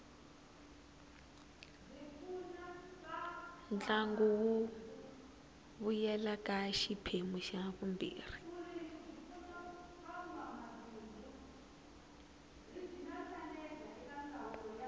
ntlangu wu vuyela ka xiphemu xa vumbirhi